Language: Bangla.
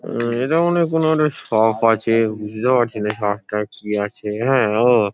উম এটা মনে হয় কোনো একটা শপ আছে বুঝতে পারছি না শপ -টা কি আছে হ্যাঁ ও--